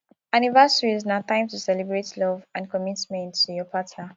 anniversaries na time to celebrate love and commitment to your partner